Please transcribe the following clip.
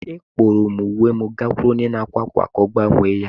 Akpọrọ m uwe m gakwuru onye na-akwa akwa ka ọ gbanwee ya.